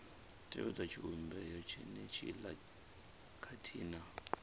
tevhedza tshivhumbeo tshenetshiḽa khathihi na